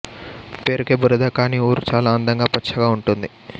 పేరుకే బురద కానీ ఊరు చాలా అందంగా పచ్చగా ఉంటుంది